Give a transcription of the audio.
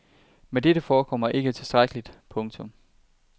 Men dette forekommer ikke tilstrækkeligt. punktum